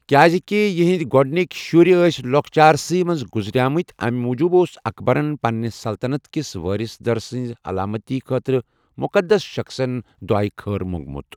کیٛازِکہِ یِہِنٛدۍ گۄڈنِکۍ شُرۍ ٲسۍ لۄکچارسٕے منٛز گُزریمٕتۍ اَمہِ موٗجوٗب اوس اکبَرن پنٛنہِ سلطنٛت کِس وٲرث دَر سٕنٛزِ سَلامٔتی خٲطرٕ مُقَدس شخصن دُعاے خٲر موٚنٛگمُت۔